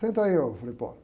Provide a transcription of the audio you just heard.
Senta aí, eu falei, pô.